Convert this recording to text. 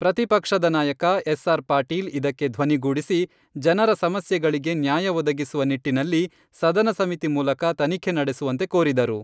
ಪ್ರತಿಪಕ್ಷದ ನಾಯಕ ಎಸ್.ಆರ್.ಪಾಟೀಲ್ ಇದಕ್ಕೆ ಧ್ವನಿಗೂಡಿಸಿ, ಜನರ ಸಮಸ್ಯೆಗಳಿಗೆ ನ್ಯಾಯ ಒದಗಿಸುವ ನಿಟ್ಟಿನಲ್ಲಿ ಸದನ ಸಮಿತಿ ಮೂಲಕ ತನಿಖೆ ನಡೆಸುವಂತೆ ಕೋರಿದರು.